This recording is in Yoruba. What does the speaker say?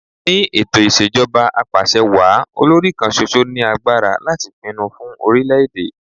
Ni ètò Ìṣèjọba Apàṣẹwàá, olòrì kan ṣoṣo ní agbára láti pinnu fun orílẹ̀ èdè.